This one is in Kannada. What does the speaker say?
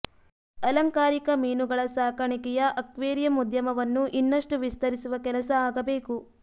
ಅಲಂಕಾರಿಕ ಮೀನುಗಳ ಸಾಕಣಿಕೆಯ ಅಕ್ವೇರಿಯಂ ಉದ್ಯಮವನ್ನು ಇನ್ನಷ್ಟು ವಿಸ್ತರಿಸುವ ಕೆಲಸ ಆಗಬೇಕು